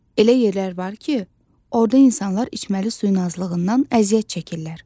Elə yerlər var ki, orda insanlar içməli suyun azlığından əziyyət çəkirlər.